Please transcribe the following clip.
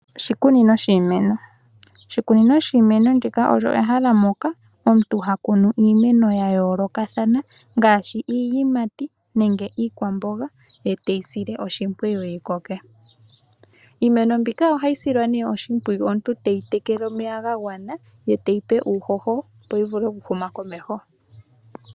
Oshikunino shiimeno. Oshikunino shiimeno, ndika olyo ehala moka omuntu ha kunu iimeno ya yoolokathana ngaashi iiyimati nenge iikwamboga, ete yi sile oshimpwiyu yikoke. Iimeno mbika ohayi silwa nee oshimpwiyu omuntu teyi tekele omeya ga gwana, ye teyi pe uuhoho opo yi vule okuhuma komeho.